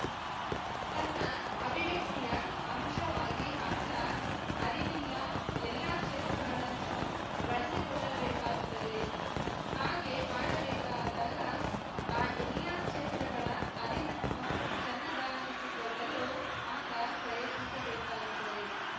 ತನ್ನ ಅಭಿವ್ಯಕ್ತಿಯ ಅಂಶವಾಗಿ ಆತ ಅರಿವಿಲ್ಲ ಎಲ್ಲ ಕ್ಷೇತ್ರಗಳನ್ನು ಬಳಸಿಕೊಳ್ಳಬೇಕಾಗುತ್ತದೆ ಹಾಗೆ ಮಾಡಬೇಕಾದಾಗ ಆ ಎಲ್ಲಾ ಕ್ಷೇತ್ರಗಳ ಅರಿವನ್ನು ತನ್ನದಾಗಿಸಿಕೊಳ್ಳಲು ಆತ ಪ್ರಯತ್ನಿಸಬೇಕಾಗುತ್ತದೆ